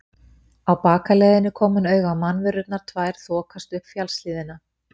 Á bakaleiðinni kom hann auga á mannverurnar tvær þokast upp fjallshlíðina.